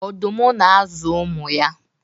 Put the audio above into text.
ọdụm na-azụ ụmụ ya